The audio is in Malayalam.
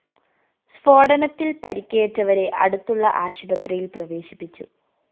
സ്‌ഫോടനത്തില്‍ പരിക്കേറ്റവരെ അടുത്തുള്ള ആശുപത്രിയില്‍ പ്രവേശിപ്പിച്ചു